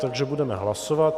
Takže budeme hlasovat.